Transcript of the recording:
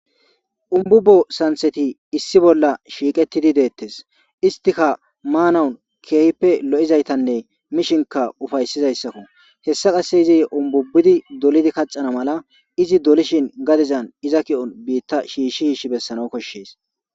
umbubo santheti issi bolla shiiqettini deettes istika maanawun keehippe lo7izaytanne mishinka ufaysizayssakko hessa qasse izi umbubbidi dolidi kacana mala izi dolishin gadizan iza ki7on biitta shiishshi yiish bessana koshshees